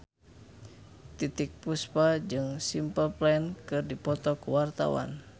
Titiek Puspa jeung Simple Plan keur dipoto ku wartawan